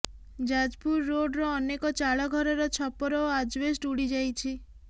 ଯାଜପୁର ରୋଡର ଅନେକ ଚାଳଘରର ଛପର ଓ ଆଜ୍ବେଷ୍ଟ ଉଡିଯାଇଛି